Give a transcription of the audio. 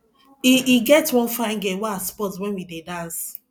e e get one fine girl wey i spot wen we dey dance